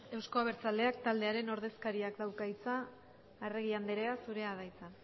euzko abertzaleak taldearen ordezkariak dauka hitza arregi andrea zurea da hitza